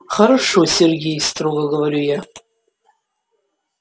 хорошо сергей строго говорю я